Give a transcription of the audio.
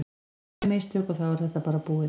Tvö mistök og þá er þetta bara búið.